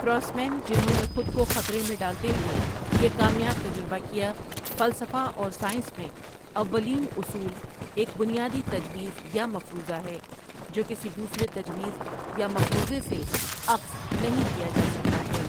فراسمین جنہوں نے خود کو ؐخطرے میں ڈالتے ہوئے یہ کامیاب تجربہ کیا فلسفہ اور سائنس میں، اوّلین اصول ایک بنیادی تجویز یا مفروضہ ہے جو کسی دوسرے تجویز یا مفروضے سے اخذ نہیں کیا جا سکتا ہے ۔